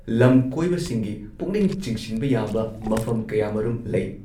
ꯂꯝ ꯀꯣꯏꯕꯁꯤꯡꯒꯤ ꯄꯨꯛꯅꯤꯡ ꯆꯤꯡꯁꯤꯟꯕ ꯌꯥꯕ ꯃꯐꯝ ꯀꯌꯥꯃꯔꯨꯝ ꯂꯩ ꯫